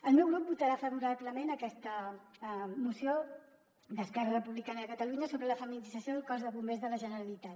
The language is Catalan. el meu grup votarà favorablement aquesta moció d’esquerra republicana de ca·talunya sobre la feminització del cos de bombers de la generalitat